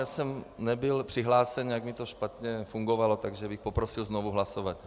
Já jsem nebyl přihlášen, nějak mi to špatně fungovalo, takže bych poprosil znovu hlasovat.